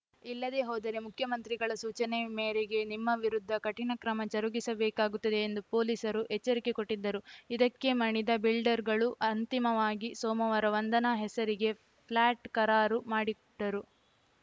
ಇಲ್ಲದೆ ಹೋದರೆ ಮುಖ್ಯಮಂತ್ರಿಗಳ ಸೂಚನೆ ಮೇರೆಗೆ ನಿಮ್ಮ ವಿರುದ್ಧ ಕಠಿಣ ಕ್ರಮ ಜರುಗಿಸಬೇಕಾಗುತ್ತದೆ ಎಂದು ಪೊಲೀಸರು ಎಚ್ಚರಿಕೆ ಕೊಟ್ಟಿದ್ದರು ಇದಕ್ಕೆ ಮಣಿದ ಬಿಲ್ಡರ್‌ಗಳು ಅಂತಿಮವಾಗಿ ಸೋಮವಾರ ವಂದನಾ ಹೆಸರಿಗೆ ಫ್ಲ್ಯಾಟ್‌ ಕರಾರು ಮಾಡಿಟ್ಟರು